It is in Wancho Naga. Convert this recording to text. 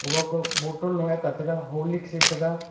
owa bottle horlicks e tega.